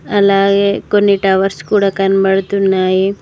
అలాగే కొన్ని టవర్స్ కూడా కనబడుతున్నాయి.